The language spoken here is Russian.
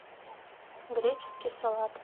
греческий салат